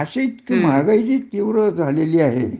अशी महागाई जी तीव्र झालाही आहे